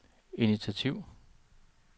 initiativ